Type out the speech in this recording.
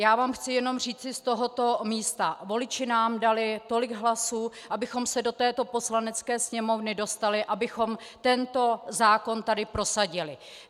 Já vám chci jenom říci z tohoto místa: Voliči nám dali tolik hlasů, abychom se do této Poslanecké sněmovny dostali, abychom tento zákon tady prosadili.